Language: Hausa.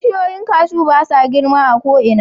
Bishiyoyin cashew ba sa girma a ko'ina.